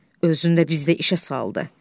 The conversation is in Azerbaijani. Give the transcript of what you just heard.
Özünü də bizdə işə saldı.